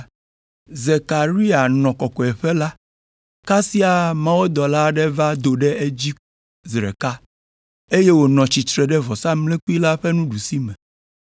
Zekaria nɔ kɔkɔeƒe la, kasia mawudɔla aɖe va do ɖe edzi zi ɖeka, eye wònɔ tsitre ɖe vɔsamlekpui la ƒe nuɖusime.